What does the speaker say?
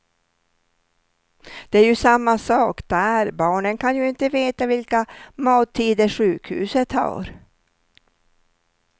Det är ju samma sak där, barnen kan ju inte veta vilka mattider sjukhuset har.